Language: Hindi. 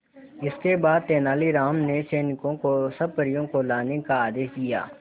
इसके बाद तेलानी राम ने सैनिकों को सब परियों को लाने का आदेश दिया